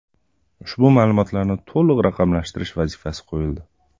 Ushbu ma’lumotlarni to‘liq raqamlashtirish vazifasi qo‘yildi.